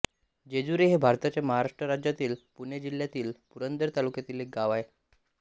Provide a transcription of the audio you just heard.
जेजुरी हे भारताच्या महाराष्ट्र राज्यातील पुणे जिल्ह्यातील पुरंदर तालुक्यातील एक गाव आहे